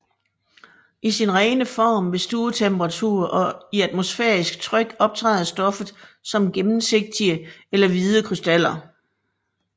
I sin rene form ved stuetemperatur og i atmosfærisk tryk optræder stoffet som gennemsigtige eller hvide krystaller